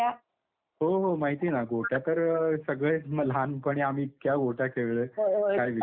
हो हो माहितीये ना गोट्या तर त्या तर सगळे म लहानपणी आम्ही इतक्या गोट्या खेळलोय, काय विचारू नको.